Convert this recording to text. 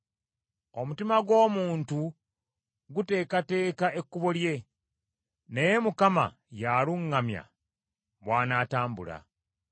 Omutima gw’omuntu guteekateeka ekkubo lye, naye Mukama y’aluŋŋamya bw’anaatambula.